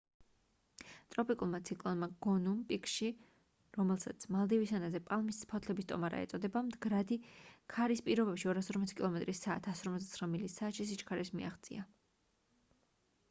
ტროპიკულმა ციკლონმა გონუმ პიკში რომელსაც მალდივის ენაზე პალმის ფოთლების ტომარა ეწოდება მდგრადი ქარის პირობებში 240 კილომეტრ საათ 149 მილი საათში სიჩქარეს მიაღწია